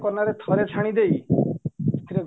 କନାରେ ଛାଣି ଦେଇ ସେଥିରେ